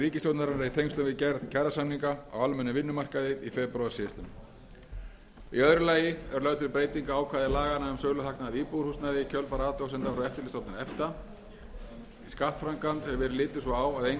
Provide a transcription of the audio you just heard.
ríkisstjórnarinnar í tengslum við gerð kjarasamninga á almennum vinnumarkaði í febrúar síðastliðinn í öðru lagi er lögð til breyting á ákvæði laganna um söluhagnað af íbúðarhúsnæði í kjölfar athugasemda frá eftirlitsstofnun efta í skattframkvæmd hefur verið litið svo á að eingöngu væri hægt að endurfjárfesta í íbúðarhúsnæði á íslandi til lækkunar á